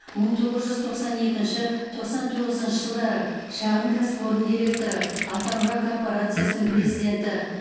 мың тоғыз жүз тоқсан екінші тоқсан тоғызыншы жылдары шағын кәсіпорын директоры атамұра корпорациясының президенті